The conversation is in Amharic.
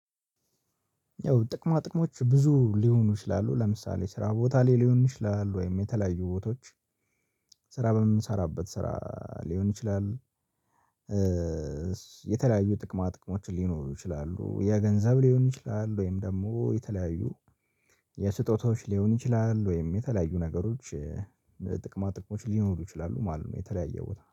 ያው ጥቅማ ጥቅሞች ብዙ ሊሆኑ ይችላሉ ለምሳሌ ስራ ቦታ ላይ ሊሆን ይችላሉ ወይም የተለያዩ ቦታዎች ስራ በምንሰራበት ስራ ሊሆን ይችላል። የተለያዩ ጥቅማ ጥቅሞችን ሊኖሩ ይችላሉ የገንዘብ ሊሆን ይችላል ወይም ደግሞ የተለያዩ የስጦታዎች ሊሆን ይችላል ወይም የተለያዩ ነገሮች ጥቅማ ጥቅሞች ሊኖሩ ይችላሉ ማለት ነው። የተለያየው ቦታ